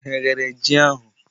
Ha eghere ji ahụ?